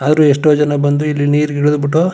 ಆದ್ರು ಎಷ್ಟೊ ಜನ ಬಂದು ಇಲ್ಲಿ ನೀರಿಗೆ ಇಳದ್ ಬಿಟ್ಟು.